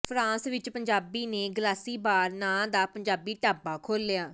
France ਵਿੱਚ ਪੰਜਾਬੀ ਨੇ glassy bar ਨਾਂ ਦਾ ਪੰਜਾਬੀ ਢਾਬਾ ਖੋਲਿਆ